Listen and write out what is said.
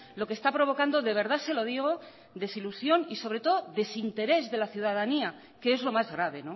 lo que está provocando de verdad se lo digo desilusión y sobre todo desinterés de la ciudadanía que es lo más grave